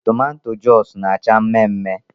Toomatoea Joosu na -acha mmee mmee